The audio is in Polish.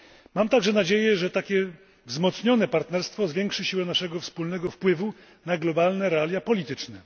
Mam także nadzieję, że takie wzmocnione partnerstwo zwiększy siły naszego wspólnego wpływu na globalne realia polityczne.